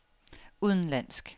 udenlandsk